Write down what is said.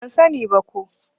Ban sa ni ba ko